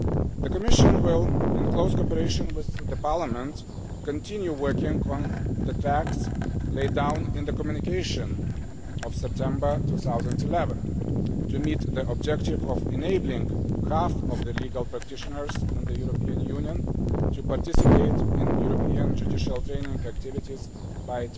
The Commission will, in close cooperation with Parliament, continue working on the tracks laid down in the Communication of September 2011 to meet the objective of enabling half of the legal practitioners in the European Union to participate in European judicial training activities by